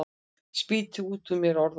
Spýti út úr mér orðunum.